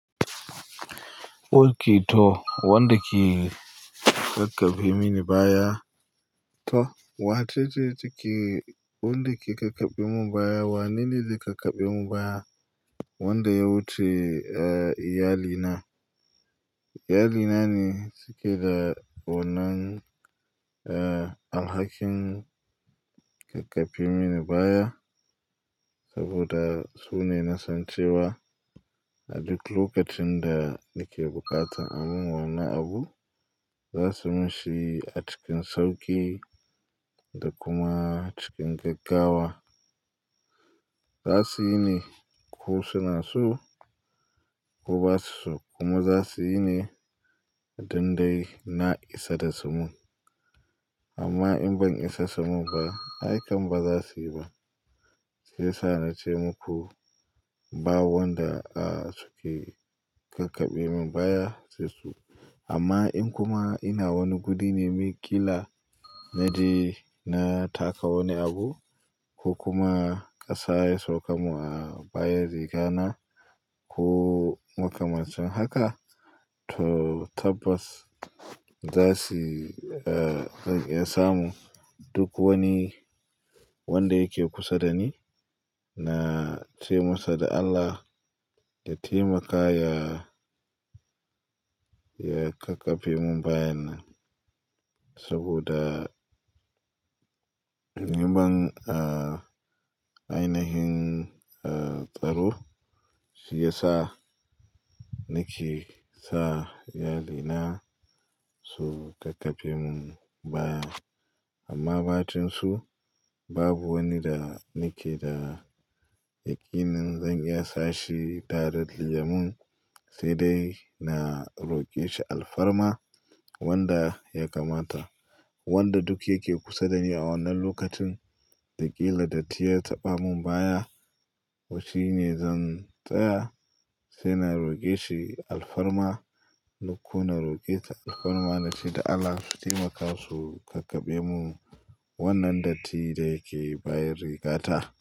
Okito, wanda ke kakkabe mini baya to wace ce take, wanda ke kakkabemu baya wanene zai kakkabemu baya wanda ya wuce, eh, iyalina. Iyali na ne suke ga wannan, eh, alhakin kakkabe mini baya saboda su ne na san cewa a duk lokacin da nake bukata a mun wani abu, za su min shi a cikin sauki da kuma cikin gaggawa. Za su yi ne ko suna so ko ba su so kuma za su yi ne dan dai na isa da su mun. Amma in ban isa sumun ba, haikan ba za su yi ba. Shi yasa na ce muku ba wanda, ah, suke kakkabe mun baya sai su. Amma in kuma ina wani gudi ne mai ƙila na ji na taka wani abu ko kuma ƙasa ya sauka mun a bayan riga na ko wata macen haka, to tabbas za su, eh, zan iya samu duk wani wanda yake kusa da ni na ce masa da Allah ya taimaka ya, ya kakkabe mun bayan nan. Saboda in ban, ah, ainihin, ah, tsaro shiyasa nake sa iyalina su kakkabe mun baya. Amma batun su babu wani da nake da yakinin zan iya sashi tare da yan mun sai dai na roƙe shi alfarma wanda ya kamata. Wanda duk yake kusa da ni a wannan lokacin da ƙila datti ya taɓa mun baya. Shi ne zan tsaya sai na roƙe shi alfarma lokuma na roƙe ta alfarma na ce da Allah su taimaka su kakkabe mun wannan datti da yake bayin rigata.